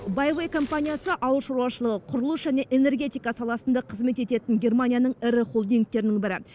байвей комипаниясы ауыл шаруашылығы құрылыс және энергетика саласында қызмет ететін германияның ірі холдингтерінің бірі